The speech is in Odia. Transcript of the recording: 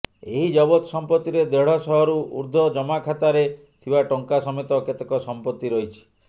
ଏହି ଜବତ ସମ୍ପତ୍ତିରେ ଦେଢ଼ ଶହରୁ ଊର୍ଦ୍ଧ୍ବ ଜମାଖାତରେ ଥିବା ଟଙ୍କା ସମେତ କେତେକ ସମ୍ପତ୍ତି ରହିଛି